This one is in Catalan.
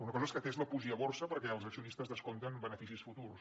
una cosa és que tesla pugi a borsa perquè els accionistes descompten beneficis futurs